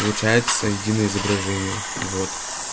получается единое изображение вот